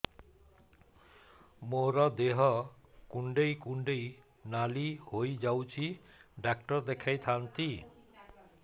ମୋର ଦେହ କୁଣ୍ଡେଇ କୁଣ୍ଡେଇ ନାଲି ହୋଇଯାଉଛି ଡକ୍ଟର ଦେଖାଇ ଥାଆନ୍ତି